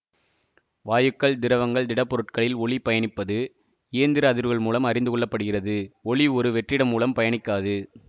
வாயுக்கள் திரவங்கள் திடப்பொருட்களில் ஒலி பயணிப்பது இயந்திர அதிர்வுகள் மூலம் அறிந்து கொள்ள படுகிறது ஒலி ஒரு வெற்றிடம் மூலம் பயணிக்காது